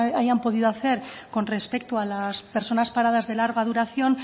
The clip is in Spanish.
hayan podido hacer con respecto a las personas paradas de larga duración